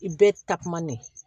I bɛ takuma ne